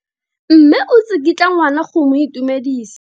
Mme o tsikitla ngwana go mo itumedisa.